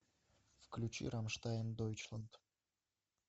включи рамштайн дойчланд